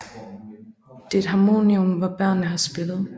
Der er et harmonium hvor børnene har spillet